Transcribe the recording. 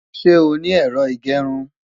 Ṣé o ní Ẹ̀rọ ìgẹrun?